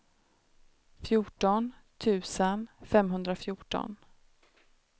fjorton tusen femhundrafjorton